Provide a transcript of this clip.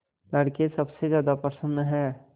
लड़के सबसे ज्यादा प्रसन्न हैं